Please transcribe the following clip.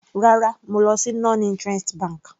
Rárá, mo lọ sí non interest bank.